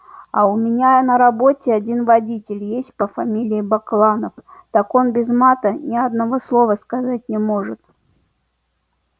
а у меня на работе один водитель есть по фамилии бакланов так он без мата ни одного слова сказать не может